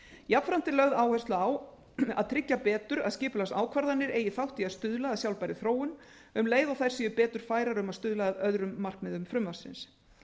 jafnframt er lögð áhersla á að tryggja betur að skipulagsákvarðanir eigi þátt í að stuðla að sjálfbærri þróun um leið og þær séu betur færar um að stuðla að öðrum markmiðum frumvarpsins